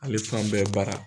Ale fan bɛɛ baara.